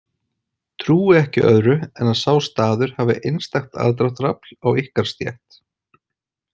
Trúi ekki öðru en að sá staður hafi einstakt aðdráttarafl á ykkar stétt.